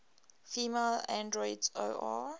female androids or